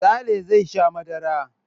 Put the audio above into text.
Sale zai sha madara.